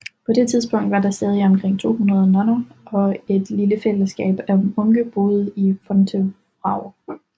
På det tidspunkt var der stadig omkring 200 nonner og et lille fælleskab af munke boende i Fontevraud